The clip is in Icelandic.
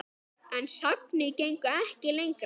En sagnir gengu ekki lengra.